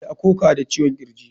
Ya koka da ciwon kirji.